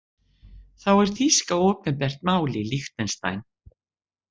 Þá er þýska opinbert mál í Liechtenstein.